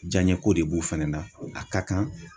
Jaɲɛko de b'u fɛnɛ na a ka kan.